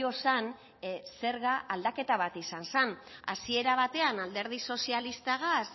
zen zerga aldaketa bat izan zen hasiera batean alderdi sozialistagaz